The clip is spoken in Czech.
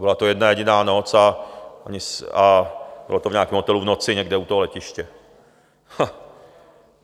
Byla to jedna jediná noc a bylo to v nějakém hotelu v noci někde u toho letiště.